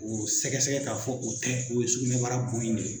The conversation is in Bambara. Woro sɛgɛsɛgɛ ka fɔ o tɛ o ye sugunɛbara kun in de ye.